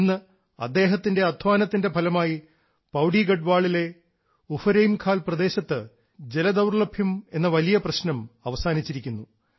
ഇന്ന് അദ്ദേഹത്തിൻറെ അദ്ധ്വാനത്തിൻറെ ഫലമായി പൌഡിഗഡവാളിലെ ഉഫരൈംഖാൽ പ്രദേശത്ത് ജലദൌർലഭ്യമെന്ന വലിയ പ്രശ്നം അവസാനിച്ചിരിക്കുന്നു